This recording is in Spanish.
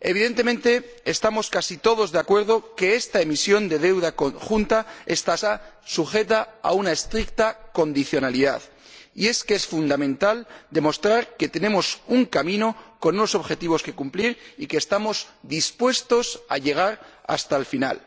Evidentemente, estamos casi todos de acuerdo en que esta emisión de deuda conjunta estará sujeta a una estricta condicionalidad, y es que es fundamental demostrar que tenemos un camino con unos objetivos por cumplir y que estamos dispuestos a llegar hasta el final.